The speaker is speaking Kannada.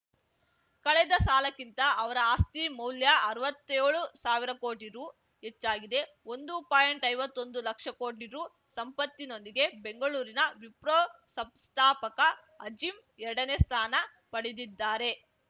ಕಳೆದ ಸಾಲಕ್ಕಿಂತ ಅವರ ಆಸ್ತಿ ಮೌಲ್ಯ ಅರ್ವತ್ಯೋಳು ಸಾವಿರ ಕೋಟಿ ರು ಹೆಚ್ಚಾಗಿದೆ ಒಂದು ಪಾಯಿಂಟ್ಐವತ್ತೊಂದು ಲಕ್ಷ ಕೋಟಿ ರುಸಂಪತ್ತಿನೊಂದಿಗೆ ಬೆಂಗಳೂರಿನ ವಿಪ್ರೋ ಸಂಸ್ಥಾಪಕ ಅಜೀಂ ಎರಡನೇ ಸ್ಥಾನ ಪಡೆದಿದ್ದಾರೆ